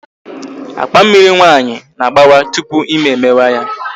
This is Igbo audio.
Akpa Mmịrị nwa nwaanyị na-agbawa tupu ime emewe ya